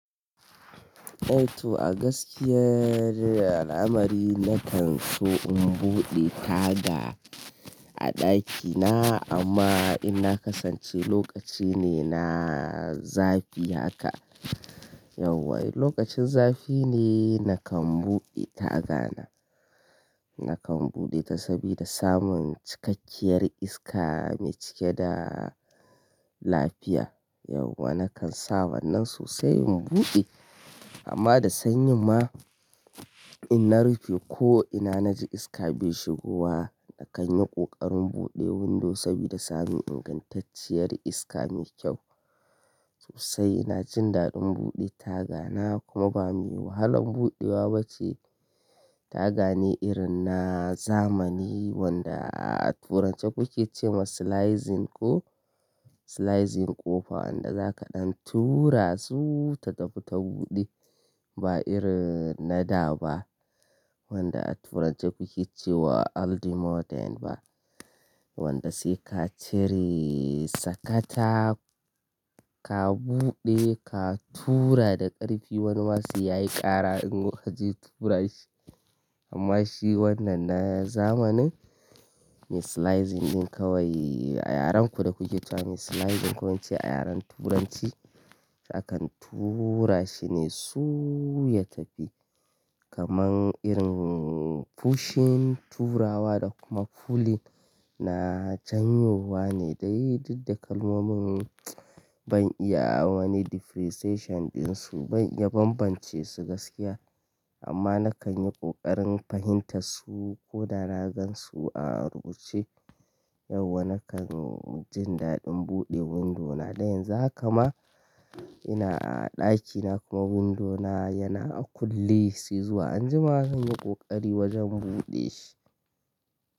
Eh to a gaskiya, al'amari na kan so in buɗe taga a ɗakina amma in na kasance lokaci ne na zafi haka. Yau wai lokacin zafi ne na kan buɗe tagana. Na kan buɗe ta sabida samun cikakkiyar iska mai cike da lafiya. Yau wa na kan sa wannan sosai in buɗe amma da sanyi ma in na rufe ko ina na ji iska bai shigowa na kan yi ƙoƙarin buɗe windo sabida samun ingantacciyar iska mai kyau. Sosai na jin daɗin buɗe tagana kuma ba me wahalan buɗewa ba ce. Taga ne irin na zamani wanda a turanci kuke cewa sliding ko sliding ƙofa wanda zaka ɗan tura su ta tafi ta buɗe. Ba irin na da ba wanda a turance kuke cewa old modern ba. Wanda sai ka cire sakata, ka buɗe ka tura da ƙarfi wani wasu yayi ƙara in ka je tura shi. Amma shi wannan na zamanin me sliding ɗin kawai a yarenku da kuke cewa sliding ko in ce a yaren turanci za ka tura shi ne su ya tafi. Kaman irin pushing turawa da kuma pulling na janyuwa ne dai duk da kalmomin ban iya wani differentiation ɗin su ya banbance su gaskiya amma na kan yi ƙoƙarin fahimta su ko da na gan su a rubuce. Yau wa na kan jin daɗin buɗe window na. Da yanzu haka ma ina a ɗakina kuma window na yana a kulle sai zuwa anjima zan yi ƙoƙari wajen buɗe shi.